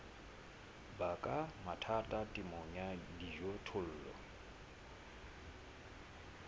baka mathata temong ya dijothollo